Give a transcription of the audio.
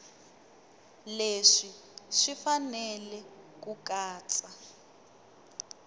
leswi swi fanele ku katsa